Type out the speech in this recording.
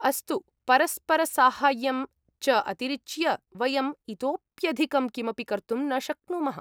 अस्तु, परस्परसाहाय्यं च अतिरिच्य, वयम् इतोऽप्यधिकं किमपि कर्तुं न शक्नुमः।